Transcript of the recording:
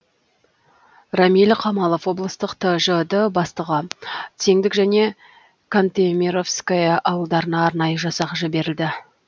рамиль қамалов облыстық тжд бастығы теңдік және кантемировское ауылдарына арнайы жасақ жіберілді